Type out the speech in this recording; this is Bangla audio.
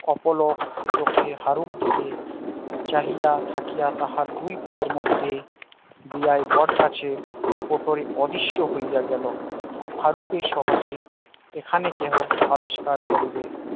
অপলক চোখে হারুর দিকে চাহিয়া থাকিয়া তাহার দুই পায়ের মধ্যে দিয়ায় বটগাছের ওপরে অদৃশ্য হইয়া গেল হারুকে সহজে এখানে কেহ আবিষ্কার করিবে